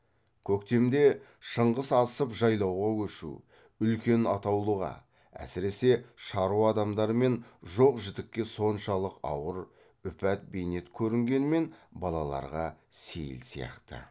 көктемде шыңғыс асып жайлауға көшу үлкен атаулыға әсіресе шаруа адамдары мен жоқ жітікке соншалық ауыр үпәд бейнет көрінгенмен балаларға сейіл сияқты